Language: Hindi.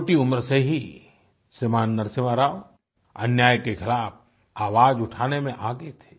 छोटी उम्र से ही श्रीमान नरसिम्हा राव अन्याय के ख़िलाफ़ आवाज उठाने में आगे थे